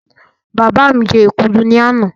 Bàbá mi jẹ èkuru ní àná